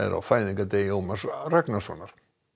á fæðingardegi Ómars Ragnarssonar